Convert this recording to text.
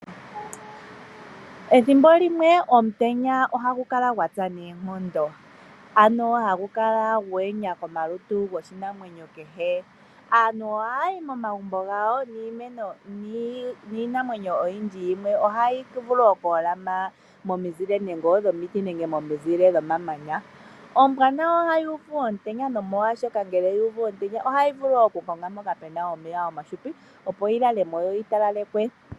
Ethimbo limwe omutenya ohagu kala gwa tsa noonkondo. Ano hagu kala gwe enya kolutu lwoshinamwenyo kehe. Aantu ohaya yi momagumbo gawo niinamwenyo oyindji yimwe ohayi vulu okuholama momizile nenge odhomiti nenge momizile dhomamanya. Ombwa nayo ohayi uvu omutenya nomolwashoka ngele yu uvu omutenya ohayi vulu okukonga mpoka pe na omeya omahupi, opo yi lale mo yo yi talalekwe.